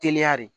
Teliya de